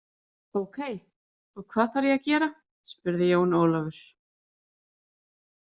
Ókei, og hvað þarf ég að gera spurði Jón Ólafur.